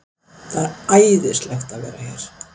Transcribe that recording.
Það er æðislegt að vera hér.